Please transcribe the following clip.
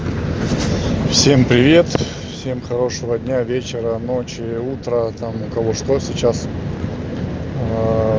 всем привет всем хорошего дня вечера ночи утра там у кого что сейчас